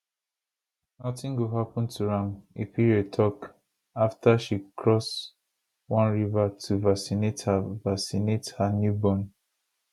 notin go happun to am epiere tok afta she cross one river to vaccinate her vaccinate her newborn